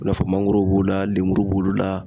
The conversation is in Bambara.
I n'a fɔ mangoro b'o la lemuru b'olu la